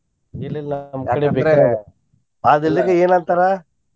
ಇಲ್ಲ ಇಲ್ಲಾ ನಮ್ಮ್ ಕಡೆ ಬಿಟ್ರೆ ಅದ ಇಲ್ದಿಕ್ಕ ಏನ್ ಅಂತಾರ.